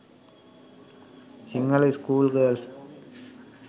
sinhala school girls